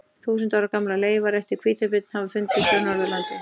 Þúsunda ára gamlar leifar eftir hvítabjörn hafa fundist á Norðurlandi.